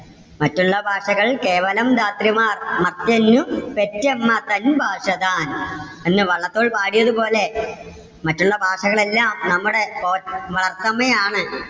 മറ്റുള്ള ഭാഷകൾ കേവലം ധാത്രിമാർ മർത്യനു പെറ്റമ്മ തൻ ഭാഷ താൻ. എന്ന് വള്ളത്തോൾ പാടിയത് പോലെ മറ്റുള്ള ഭാഷകൾ എല്ലാം നമ്മടെ പോറ്റ വളർത്തമ്മയാണ്.